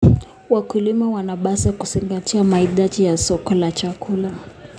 Wakulima wanapaswa kuzingatia mahitaji ya soko la chakula.